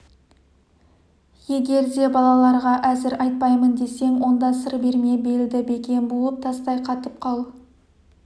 егер де балаларға әзір айтпаймын десең онда сыр берме белді бекем буып тастай қатып қал